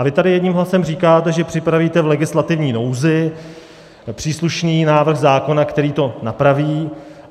A vy tady jedním hlasem říkáte, že připravíte v legislativní nouzi příslušný návrh zákona, který to napraví.